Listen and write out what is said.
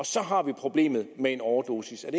så har problemet med en overdosis